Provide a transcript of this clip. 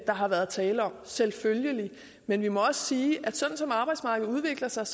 der har været tale om selvfølgelig men vi må også sige at sådan som arbejdsmarkedet udvikler sig